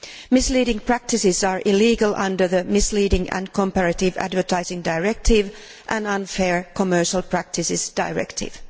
Misleading practices are illegal under the Misleading and Comparative Advertising Directive and the Unfair Commercial Practices Directive.